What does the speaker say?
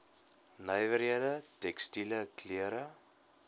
nywerhede tekstiele klere